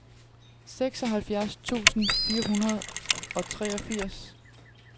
seksoghalvfjerds tusind fire hundrede og treogfirs